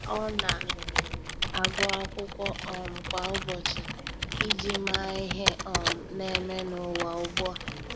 Ọ́ na agụ́ ákwụ́kwọ́ um kwa ụ́bọ̀chị̀ iji màá ihe um nà-ème n’ụ́wà ugbu a.